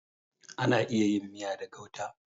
Ana iya yin miya da gauta.